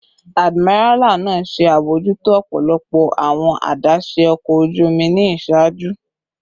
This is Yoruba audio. Admiral naa ṣe abojuto ọpọlọpọ awọn adaṣe ọkọ oju omi ni iṣaaju